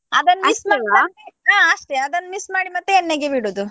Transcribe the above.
ಅದನ್ನು ಹಾ ಅಷ್ಟೇ ಅದನ್ನು mix ಮಾಡಿ ಮತ್ತೆ ಎಣ್ಣೆಗೆ ಬಿಡುದು.